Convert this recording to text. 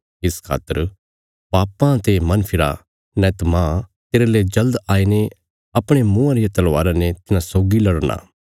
इस खातर पापां ते मन फिरा नैंत मांह तेरले जल्द आईने अपणे मुँआं रिया तलवारा ने तिन्हां सौगी लड़ना